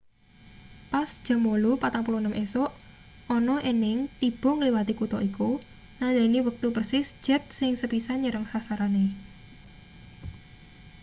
pas jam 8:46 esuk ana ening tiba ngliwati kutha iku nandhani wektu persis jet sing sepisan nyerang sasarane